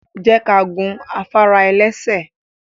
Je ka gun afara-elese